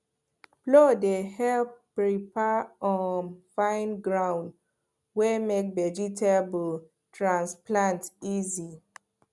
plow dey help prepare um fine ground wey make vegetable transplant easy